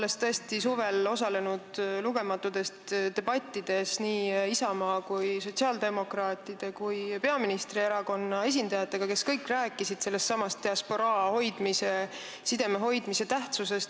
Osalesin suvel lugematutes debattides nii Isamaa kui sotsiaaldemokraatide kui peaministri erakonna esindajatega ja kõik rääkisid sellestsamast diasporaa hoidmise, sideme hoidmise tähtsusest.